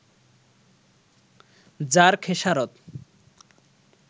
যার খেসারত